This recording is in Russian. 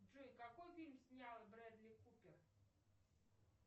джой какой фильм снял брэдли купер